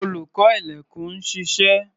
Olùṣọ́-ilẹ̀kùn ń ṣiṣẹ́.